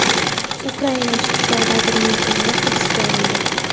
Ukraina ichki ishlar vazirining o‘g‘li hibsga olindi.